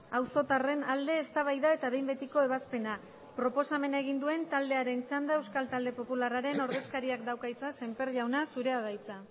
auzotarren alde eztabaida eta behin betiko ebazpena proposamena egin duen taldearen txanda euskal talde popularraren ordezkariak dauka hitza semper jauna zurea da hitza